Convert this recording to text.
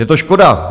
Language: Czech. Je to škoda.